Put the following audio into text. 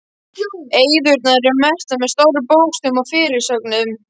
Eyðurnar eru merktar með stórum bókstöfum og fyrirsögnum.